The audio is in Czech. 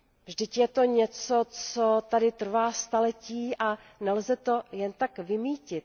Vždyť je to něco, co tady trvá staletí a nelze to jen tak vymýtit.